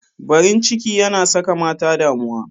Barin ciki yana saka mata damuwa.